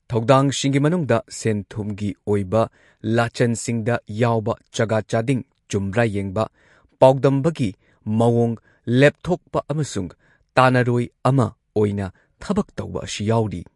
ꯊꯧꯗꯥꯡꯁꯤꯡꯒꯤ ꯃꯅꯨꯡꯗ ꯁꯦꯟ ꯊꯨꯝꯒꯤ ꯑꯣꯏꯕ ꯂꯥꯆꯟꯁꯤꯡꯗ ꯌꯥꯎꯕ ꯆꯥꯒꯥ ꯆꯥꯗꯤꯡ ꯆꯨꯝꯕ꯭ꯔꯥ ꯌꯦꯡꯕ, ꯄꯥꯎꯗꯝꯕꯒꯤ ꯃꯑꯣꯡ ꯂꯦꯞꯊꯣꯛꯄ ꯑꯃꯁꯨꯡ ꯇꯥꯅꯔꯣꯏ ꯑꯃ ꯑꯣꯏꯅ ꯊꯕꯛ ꯇꯧꯕ ꯑꯁꯤ ꯌꯥꯎꯔꯤ꯫